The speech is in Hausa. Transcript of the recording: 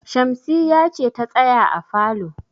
Shamsiyya ce ta tsaya a falo.